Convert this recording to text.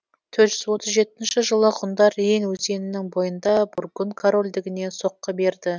төрт жүз отыз жетінші жылы ғұндар рейн өзенінің бойында бургун корольдігіне соққы берді